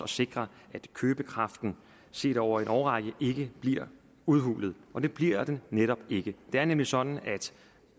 sikre at købekraften set over en årrække ikke bliver udhulet og det bliver den netop ikke det er nemlig sådan at